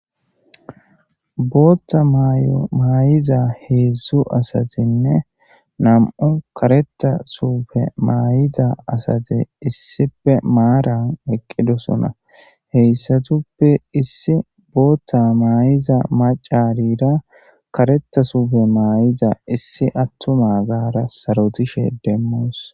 Booththa maayo maayiza heedzdzu asathenne nam7u kareththa suufe maayida asathe issipe maaran eqqidosona; heyssathuppe issi booththa maayiza maccaariira kareththa suufe maayiza issi aththumagaara sarothishe demmoos.